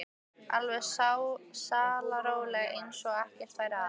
Alveg sallaróleg eins og ekkert væri að.